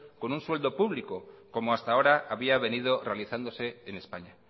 con un sueldo público como hasta ahora había venido realizándose en españa